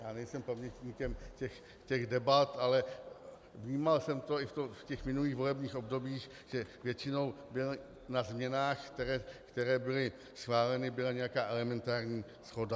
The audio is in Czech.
Já nejsem pamětníkem těch debat, ale vnímal jsem to i v těch minulých volebních obdobích, že většinou na změnách, které byly schváleny, byla nějaká elementární shoda.